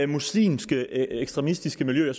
muslimske ekstremistiske miljøer